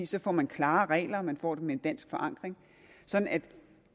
så får man klare regler og man får dem med en dansk forankring sådan at